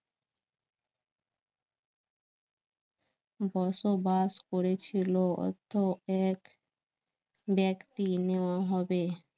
বসবাস করেছিল এক ব্যক্তি নেওয়া হবে